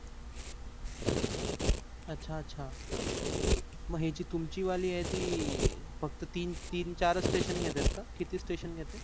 अछा अछा म्हणजे जी तुमची वाली आहे ती फक्त तीन चार station घेते का किती station घेते?